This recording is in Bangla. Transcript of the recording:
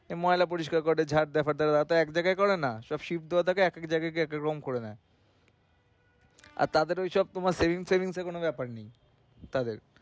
ময়লা পরিষ্কার করে তারপর ঝাড়~ এক জায়গায় করেনা সব শীত~ একেক জায়গায় কি একেক রকম করেনা। আর তাদের হিসাব তোমার sence sence এর কোনো ব্যাপার নেই। তবে